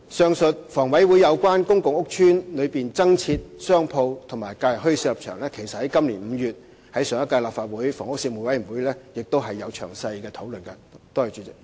上述房委會對公共屋邨內增設商鋪和假日墟市的立場，其實上屆立法會的房屋事務委員會也曾在今年5月的會議作詳細討論。